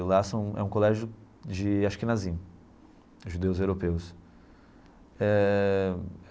E lá são é um colégio de Ashkenazim, judeus europeus eh.